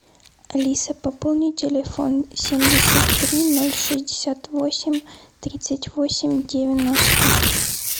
алиса пополни телефон семьдесят три ноль шестьдесят восемь тридцать восемь девяносто